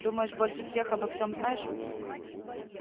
думаешь больше всех обо всем знаешь